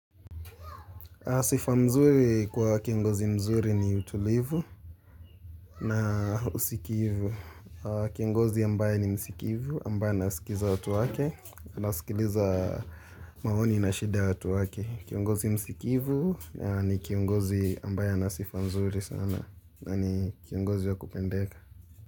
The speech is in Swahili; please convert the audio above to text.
Sifa mzuri kwa kiongozi mzuri ni utulivu na usikivu. Kiongozi ambaye ni msikivu, ambaye anasikiza watu wake, anasikiliza maoni na shida ya watu wake. Kiongozi msikivu ni kiongozi ambaye ana sifa nzuri sana. Kiongozi wa kupendeka.